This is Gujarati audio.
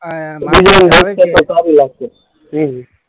હમ્મ હમ્મ